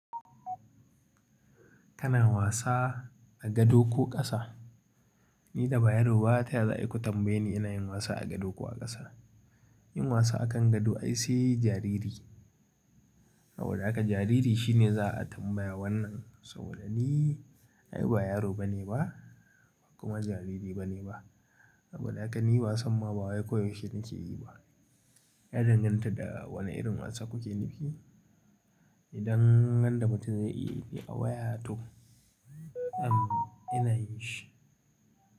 Kana wasa a gado ko ƙasa? Nida ba yaro ba taya zaku tambayeni ina wasa a gado kuwa koh a kasa. Yin wasa a kan gado ai se jariri. Saboda haka jariri shi ne za a tambaya wannan, saboda ni ai ba yaro bane ba kuma jariri bane ba. Saboda haka ni wasan ma ba wai koyaushe nake yi ba. Ya danganta da wane irin wasa kuke nufi idan wanda mutum zai iya yine a waya to, am ina yin shi.